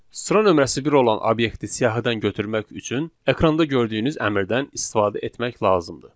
Sıra nömrəsi bir olan obyekti siyahıdan götürmək üçün ekranda gördüyünüz əmrdən istifadə etmək lazımdır.